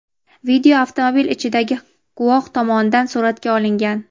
Video avtomobil ichidagi guvoh tomonidan suratga olingan.